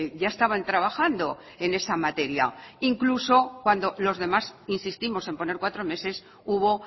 ya estaban trabajando en esa materia incluso cuando los demás insistimos en poner cuatro meses hubo